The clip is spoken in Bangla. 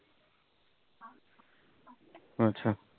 আচ্ছা